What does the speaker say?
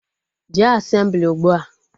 Jee Asemblị ugbua!